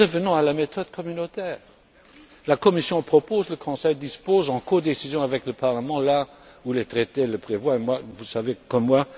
Revenons à la méthode communautaire la Commission propose, le Conseil dispose en codécision avec le Parlement là où les traités le prévoient, vous le savez comme moi.